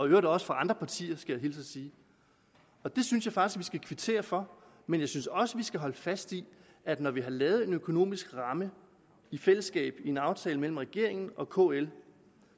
i øvrigt også andre partier skal jeg hilse at sige det synes jeg faktisk skal kvittere for men jeg synes også vi skal holde fast i at når vi har lavet en økonomisk ramme i fællesskab en aftale mellem regeringen og kl